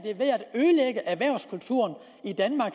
ødelægge erhvervskulturen i danmark